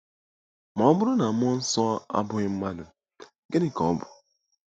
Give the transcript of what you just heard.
Ma ọ bụrụ na mmụọ nsọ abụghị mmadụ, gịnị ka ọ bụ?